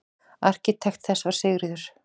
Arkitekt þess var Sigríður